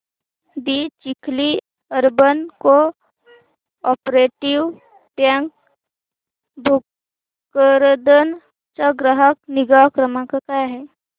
दि Chikhli urban cooperative bank Bhokardan चा ग्राहक निगा क्रमांक काय आहे